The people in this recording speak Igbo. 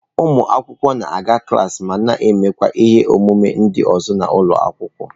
Ụmụ akwụkwọ na-aga klaasị ma na-emekwa ihe omume ndị ọzọ n'ụlọ akwụkwọ.